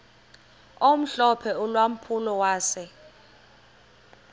omhlophe ulampulo wase